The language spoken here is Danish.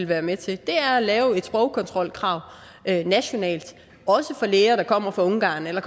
være med til er at lave et sprogkontrolkrav nationalt også for læger der kommer fra ungarn eller